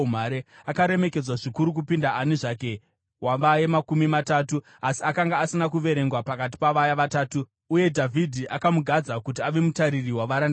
Akaremekedzwa zvikuru kupinda ani zvake wavaye Makumi Matatu, asi akanga asina kuverengwa pakati pavaya vatatu. Uye Dhavhidhi akamugadza kuti ave mutariri wavarindi vake.